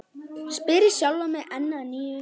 spyr ég sjálfan mig enn að nýju.